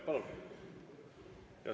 Palun!